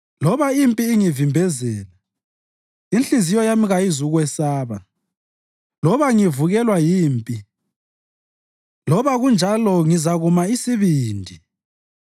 Loba impi ingivimbezela, inhliziyo yami kayizukwesaba; loba ngivukelwa yimpi, loba kunjalo ngizakuma isibindi.